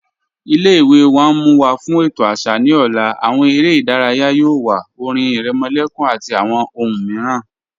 Ilẹ̀-iwe wa n mú wa fún ètò àṣà ni ọ̀lá, awọn èrè idáràyà yóò wà, ọ̀rìn ìrèmòlẹ̀kùn àti awọn ọ̀hùn míìràn.